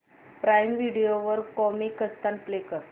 prime video वर Comicstaan play कर